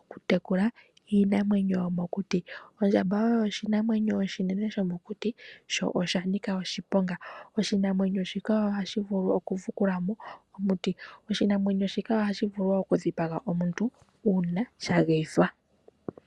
okutekula iinamwenyo yomokuti. Ondjamba oyo oshinamwenyo oshinene shomokuti sho oshanika oshiponga. Oshinamwenyo shika ohashi vulu okufukulamo omiti, oshinamwenyo shika ohashi vulu wo okudhipaga omuntu uuna shageyithwa.